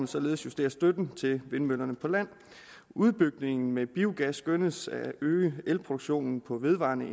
således justere støtten til vindmøller på land udbygningen med biogas skønnes at øge elproduktionen fra vedvarende